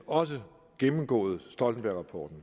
også gennemgået stoltenbergrapporten